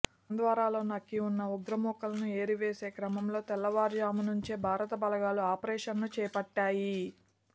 హంద్వారాలో నక్కి ఉన్న ఉగ్రమూకలను ఏరివేసే క్రమంలో తెల్లారుజామునుంచే భారత బలగాలు ఆపరేషన్ను చేపట్టాయి